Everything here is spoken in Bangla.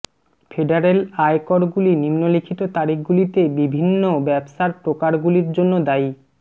ফেডারেল আয়করগুলি নিম্নলিখিত তারিখগুলিতে বিভিন্ন ব্যবসার প্রকারগুলির জন্য দায়ী